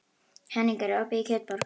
Henning, er opið í Kjötborg?